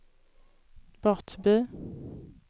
Brottby